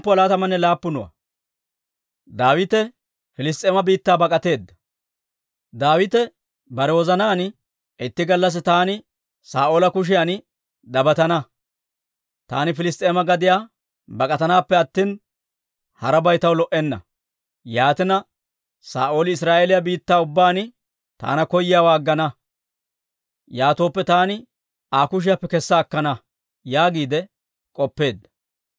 Daawite bare wozanaan, «Itti gallassi taani Saa'oola kushiyan dabatana; taani Piliss's'eema gadiyaa bak'atanaappe attina, harabay taw lo"enna. Yaatina, Saa'ooli Israa'eeliyaa biittaa ubbaan taana koyiyaawaa aggana; yaatooppe taani Aa kushiyaappe kessa akkana» yaagiide k'oppeedda.